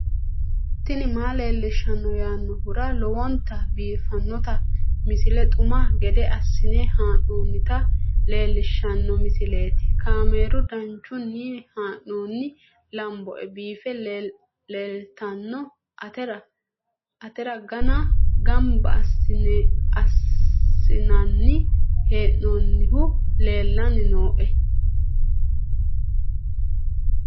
tini maa leelishshanno yaannohura lowonta biiffanota misile xuma gede assine haa'noonnita leellishshanno misileeti kaameru danchunni haa'noonni lamboe biiffe leeeltanno atara ganne gamba assinanni hee'noonnihu leellanni nooe